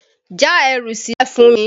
Já ẹrù sílẹ̀ fún mi!